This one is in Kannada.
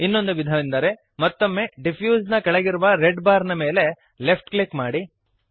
ಇನ್ನೊಂದು ವಿಧವೆಂದರೆ - ಮತ್ತೊಮ್ಮೆ ಡಿಫ್ಯೂಸ್ ನ ಕೆಳಗಿರುವ ರೆಡ್ ಬಾರ್ ನ ಮೇಲೆ ಲೆಫ್ಟ್ ಕ್ಲಿಕ್ ಮಾಡಿರಿ